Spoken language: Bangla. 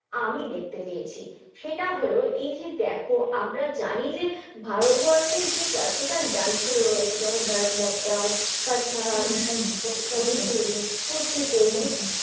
আমি দেখতে পেয়েছি, সেটা হলো এই যে দেখো আমরা জানি যে ভারতবর্ষের যে classical dance গুলো রয়েছে, যেমন ভারত নাট্যম, কত্থক হুম একদম মনিপুরী, কুচিপুরি একদম